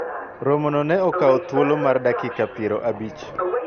romo no ne okawo thuolo mar dakika piero abich